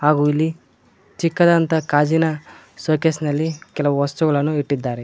ಹಾಗು ಇಲ್ಲಿ ಚಿಕ್ಕದಾದಂತಹ ಗಾಜಿನ ಷೋಕೇಸ್ ನಲ್ಲಿ ಕೆಲವು ವಸ್ತುಗಳನ್ನು ಇಟ್ಟಿದ್ದಾರೆ.